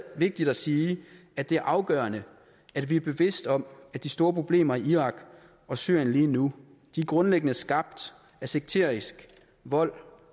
vigtigt at sige at det er afgørende at vi er bevidst om at de store problemer i irak og syrien lige nu grundlæggende er skabt af sekterisk vold